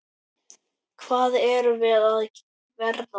Hvað erum við að verða?